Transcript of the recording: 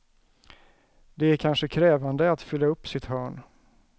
Det är kanske krävande att fylla upp sitt hörn.